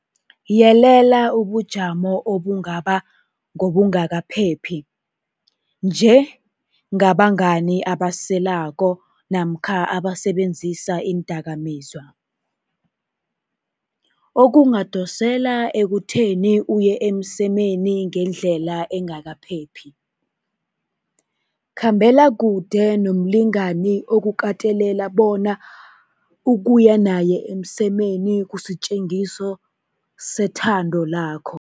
Yelela ubujamo obungaba ngobungakaphephi, nje ngabangani abaselako namkha abasebenzisa iindakamizwa, okungadosela ekutheni uye emsemeni ngendlela engakaphephi. Khambela kude nomlingani okukatelela bona ukuya naye emsemeni kusitjengiso sethando lakho.